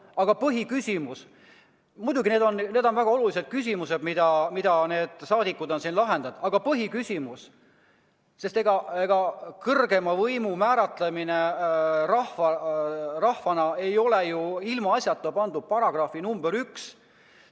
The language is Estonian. Aga muidugi, need on väga olulised küsimused, mida rahvasaadikud on siin lahendanud, aga ega kõrgeima võimu kandja määratlemine rahvana ei ole ilmaasjata pandud § 1.